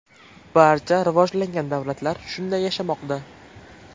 Barcha rivojlangan davlatlar shunday yashamoqda.